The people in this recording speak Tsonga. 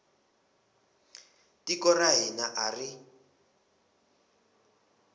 tiko ra hina a ri